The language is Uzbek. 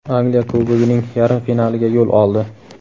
Angliya Kubogining yarim finaliga yo‘l oldi.